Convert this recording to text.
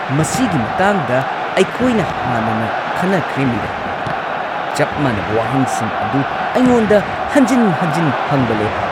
ꯃꯁꯤꯒꯤ ꯃꯇꯥꯡꯗ ꯑꯩꯈꯣꯏꯅ ꯍꯥꯟꯅꯅ ꯈꯟꯅꯈ꯭ꯔꯦ ꯃꯤꯔꯥ! ꯆꯞ ꯃꯥꯟꯅꯕ ꯋꯥꯍꯪꯁꯤꯡ ꯑꯗꯨ ꯑꯩꯉꯣꯟꯗ ꯍꯟꯖꯤꯟ-ꯍꯟꯖꯤꯟ ꯍꯪꯕ ꯂꯦꯞꯄꯣ꯫